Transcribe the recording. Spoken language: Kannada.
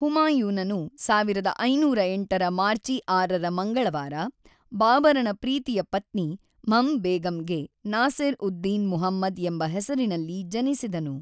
ಹುಮಾಯೂನನು ೧೫೦೮ರ ಮಾರ್ಚಿ ೬ರ ಮಂಗಳವಾರ, ಬಾಬರನ ಪ್ರೀತಿಯ ಪತ್ನಿ ಮ್ಹಮ್ ಬೇಗಂಗೆ ನಾಸಿರ್-ಉದ್-ದಿನ್ ಮುಹಮ್ಮದ್ ಎಂಬ ಹೆಸರಿನಲ್ಲಿ ಜನಿಸಿದನು.